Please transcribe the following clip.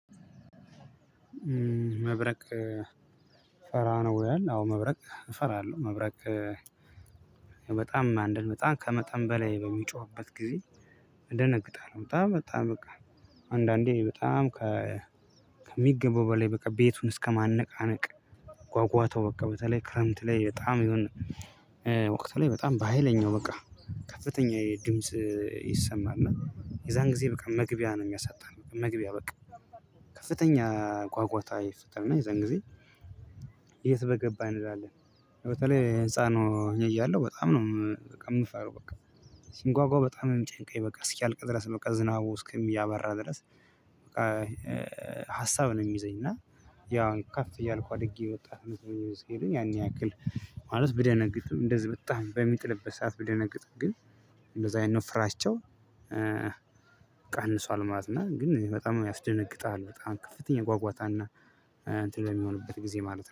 "መብረቅ ፈራ ነው?" ይላል፤ አዎ መብረቅ እፈራለሁ። መብረቅ በጣም አንድን በጣም ከመጠን በላይ በሚጮህበት ጊዜ እደነግጣለሁ በጣም በጣም በቃ አንዳንዴ በጣም ከሚገባው በላይ በቃ ቤቱን እስከማነቃነቅ ጓጓታው በቃ በተለይ ክረምት ላይ በጣም የሆነ ወቅት ላይ በጣም በሃይለኛው በቃ ከፍተኛ የድምጽ ይሰማል እና የዛን ጊዜ በቃ መግቢያ ነው የሚያሳጣን መግቢያ በቃ ከፍተኛ ጓጓታ ይፈጥራል እና የዛን ጊዜ የት በገባን እንላለን። በተለይ ህንፃን ሆኜ እያለሁ በጣም ነው በቃ የምፈራው በቃ ሲንጓጓ በጣም የሚጨንቀኝ በቃ እስኪያልቅ ድረስ በቃ ዝናቡ እስኪሚያባራ ድረስ በቃ ሀሳብ ነው የሚይዘኝ እና ያው ከፍ እያልኩ አድጌ ወጣትነት ሲለኝ ያን ያክል ማለት ብደነግጥም እንደዚህ በጣም በሚጥልበት ሰዓት ብደነግጥም ግን እንደዚህ አይነት ፍራቸው ቀንሷል ማለት ነው እና ግን በጣም ያስደነግጣል በጣም ከፍተኛ ጓጓታና እና እንትን በሚሆንበት ጊዜ ማለት ነው።